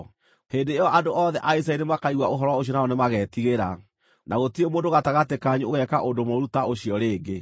Hĩndĩ ĩyo andũ othe a Isiraeli nĩmakaigua ũhoro ũcio nao nĩmagetigĩra, na gũtirĩ mũndũ gatagatĩ kanyu ũgeeka ũndũ mũũru ta ũcio rĩngĩ.